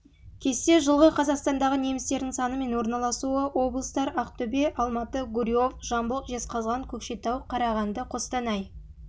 кесте жылғы қазақстандағы немістердің саны мен орналасуы облыстар ақтөбе алматы гурьев жамбыл жезқазған көкшетау қарағанды қостанай